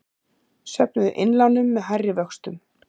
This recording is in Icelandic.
Söfnuðu innlánum með hærri vöxtum